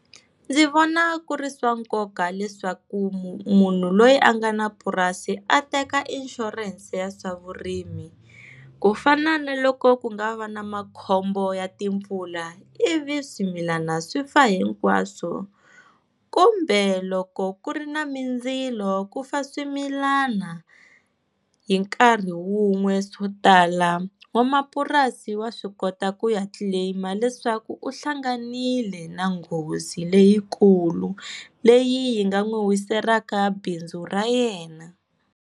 Ndzi vona ku ri swa nkoka leswaku munhu loyi a nga na purasi a teka inshurense ya swa vurimi, ku fana na loko ku nga va na makhombo ya timpfula ivi swimilana swi fa hinkwaswo, kumbe loko ku ri na mindzilo ku fa swimilana hi nkarhi wun'we swo tala, n'wamapurasi wa swi kota ku ya claim-a leswaku u hlanganile na nghozi leyikulu, leyi yi nga n'wi wiselaka bindzu ra yena.